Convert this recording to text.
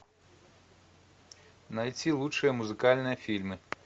найти лучшие музыкальные фильмы